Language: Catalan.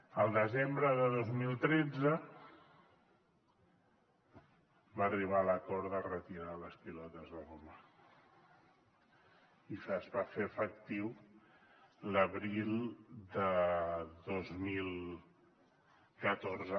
el desembre de dos mil tretze va arribar l’acord de retirar les pilotes de goma i es va fer efectiu l’abril de dos mil catorze